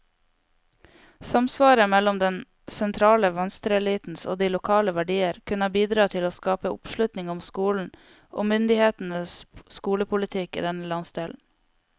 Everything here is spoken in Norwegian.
Samsvaret mellom den sentrale venstreelitens og de lokale verdier kunne bidra til å skape oppslutning om skolen, og myndighetenes skolepolitikk i denne landsdelen.